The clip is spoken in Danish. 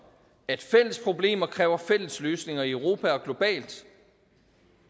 at fælles problemer kræver fælles løsninger i europa og globalt